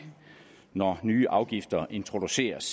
når nye afgifter introduceres